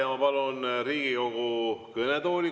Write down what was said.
Ma palun Riigikogu kõnetooli …